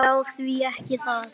Já, því ekki það?